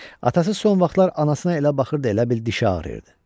Atası son vaxtlar anasına elə baxırdı, elə bil dişi ağrayırdı.